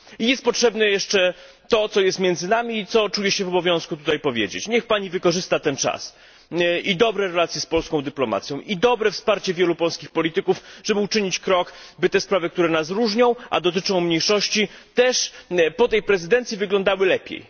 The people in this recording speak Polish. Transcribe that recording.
I jest potrzebne jeszcze to, co jest między nami, i co czuję się w obowiązku tutaj powiedzieć niech Pani wykorzysta ten czas i dobre relacje z polską dyplomacją, i mocne wsparcie wielu polskich polityków, żeby uczynić krok, by te sprawy, które nas różnią a dotyczą mniejszości, też po tej prezydencji wyglądały lepiej.